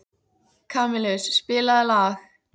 Kamilus, spilaðu lag.